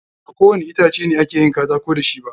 Ba ko wani itace ne a ke katako da shi ba.